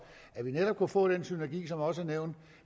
at vi netop kunne få den synergi som også er nævnt